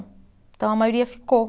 Então, a maioria ficou.